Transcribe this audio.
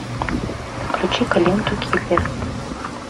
включи ка ленту киллер